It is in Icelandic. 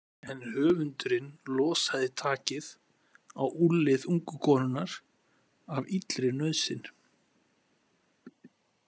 En höfundurinn losaði takið á úlnlið ungu konunnar af illri nauðsyn.